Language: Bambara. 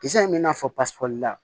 Kisɛ in bɛ n'a fɔ pasikɔri la